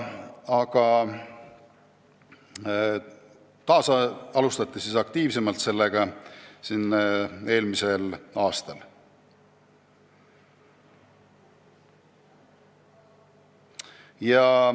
Aktiivsemalt asuti taas selle kallale eelmisel aastal.